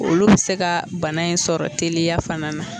Olu bi se ka bana in sɔrɔ teliya fana na